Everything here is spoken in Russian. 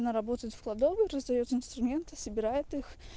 она работает в кладовой раздаёт инструменты собирает их